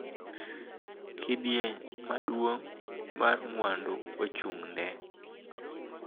Kidieny maduong� mar mwandu ochung�ne.